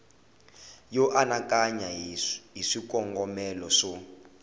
yo anakanya hi swikongomelo swo